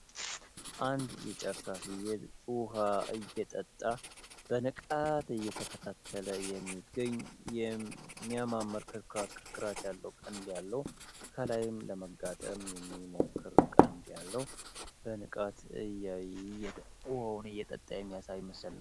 አንድ የጫካ ፍየል ውሃ እየጠጣ በንቃት እየተከታተለ የሚገኝ የሚያማምር ክርክራት ያለው ቀንድ ያለው ከላይም ለመጋጠም የሚሞክር ቀንድ ያለው በንቃት ውሃውን እየጠጣ የሚያሳይ ምስል ነው።